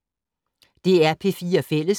DR P4 Fælles